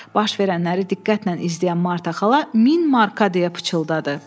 Baş verənləri diqqətlə izləyən Marta xala 1000 marka deyə pıçıldadı.